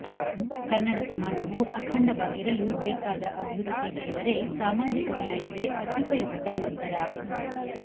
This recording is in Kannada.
ಕನ್ನಡ ಸಮಾಜವು ಅಖಂಡವಾಗಿರಲು ಬೇಕಾದ ಅಭಿವೃದ್ಧಿ ಎಂದರೆ ಸಾಮಾಜಿಕ ನ್ಯಾಯವೇ ಅತ್ಯುಪಯುಕ್ತ ಮಂತರ